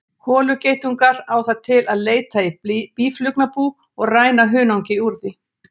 Holugeitungur á það til að leita í býflugnabú og ræna hunangi úr því.